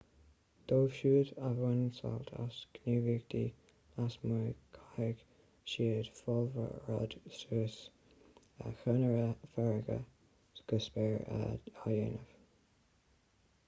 dóibh siúd a bhaineann sult as gníomhaíochtaí lasmuigh caithfidh siad fálróid suas chonaire farraige go spéir a dhéanamh